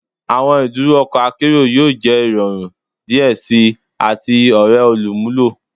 Awọn iduro ọkọ akero yoo jẹ irọrun diẹ sii ati ore olumulo